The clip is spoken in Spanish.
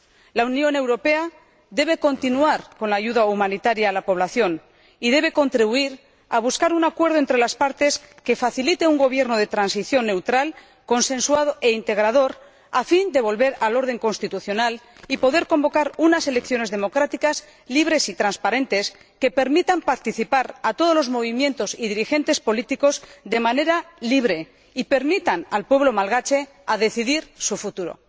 La Unión Europea debe continuar con la ayuda humanitaria a la población y debe contribuir a buscar un acuerdo entre las partes que facilite un Gobierno de transición neutral, consensuado e integrador, a fin de volver al orden constitucional y poder convocar unas elecciones democráticas libres y transparentes que permitan participar a todos los movimientos y dirigentes políticos de manera libre y permitan al pueblo malgache decidir su futuro.